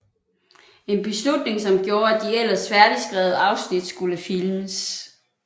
En beslutning som gjorde at de ellers færdigskrevet afsnit skulle filmes